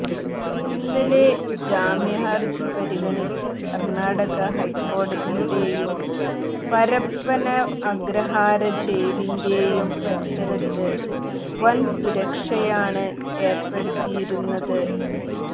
ഇന്നലെ ജാമ്യഹര്ജി പരിഗണിച്ച കര്ണ്ണാടക ഹൈക്കോടതിയുടെയും പരപ്പന അഗ്രഹാര ജയിലിന്റെയും പരിസരത്ത് വന്സുരക്ഷയാണ് ഏര്പ്പെടുത്തിയിരുന്നത്